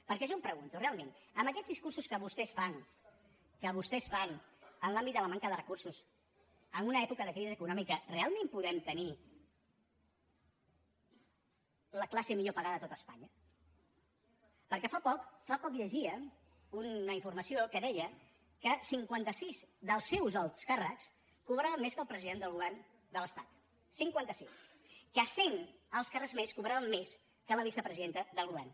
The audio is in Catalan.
perquè jo em pregunto realment amb aquests discursos que vostès fan en l’àmbit de la manca de recursos en una època de crisi econòmica realment podem tenir la classe millor pagada de tot españa perquè fa poc llegia una informació que deia que cinquanta sis dels seus alts càrrecs cobraven més que el president del govern de l’estat cinquanta sis que cent alts càrrecs més cobraven més que la vicepresidenta del govern